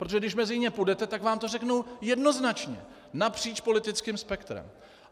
Protože když mezi ně půjdete, tak vám to řeknou jednoznačně napříč politickým spektrem.